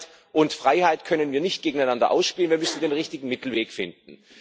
Sicherheit und Freiheit können wir nicht gegeneinander ausspielen wir müssen den richtigen Mittelweg finden.